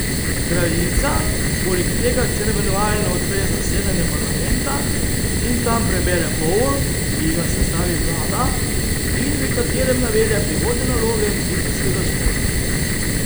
Kraljica poleg tega ceremonialno odpre zasedanje parlamenta in tam prebere govor, ki ji ga sestavi vlada in v katerem navede prihodnje naloge ministrskega zbora.